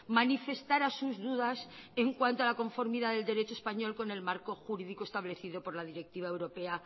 manifestara sus dudas en cuanto a la conformidad del derecho español con el marco jurídico establecido por la directiva europea